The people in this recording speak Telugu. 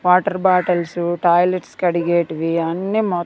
వాటర్ బాటల్స్ టాయిలెట్స్ కడిగేటివి అన్నీ మొ--